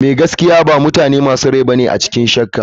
Mai gaskiya ba mutane masu rai bane a cikin shakka.